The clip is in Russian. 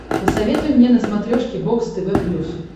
посоветуй мне на смотрешке бокс тв плюс